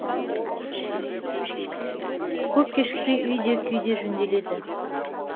көп кешікпей үй де күй де жөнделеді